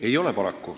Ei ole.